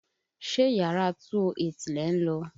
Ṣé yàrá 208 lẹ̀ ń lọ?